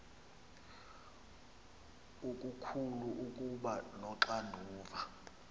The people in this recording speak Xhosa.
okukhulu ukuba noxanduva